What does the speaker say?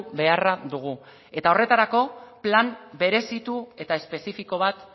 beharra dugu eta horretarako plan berezitu eta espezifiko bat